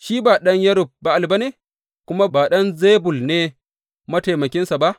Shi ba ɗan Yerub Ba’al ba ne, kuma ba Zebul ne mataimakinsa ba?